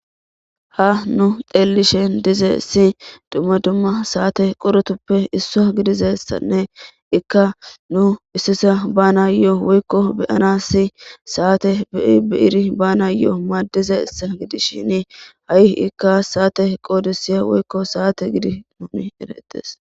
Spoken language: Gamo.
Ha nu deellishen dize si dumma dumma saate qorotuppe isso gidizessanne ikka nu issisa bana yo'o woykko beyanassi saate bebeiri bana yo'o maaddiza issa gidishini ha'i ikka saate qoodisiya woykko saate gidi nuni ereettes.